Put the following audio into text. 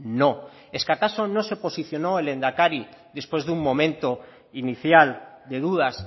no es que acaso no se posicionó el lehendakari después de un momento inicial de dudas